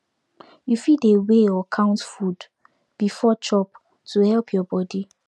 you fit dey weigh or count food before chop to help your body